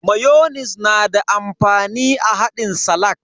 Mayonis na da amfani a haɗin salak.